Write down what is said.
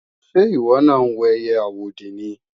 Ṣé ìwọ náà ń wo ẹiyẹ àwòdì ni?